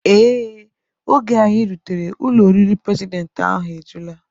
Ee, oge anyị rutere, ụlọ oriri prezidentị ahụ ejula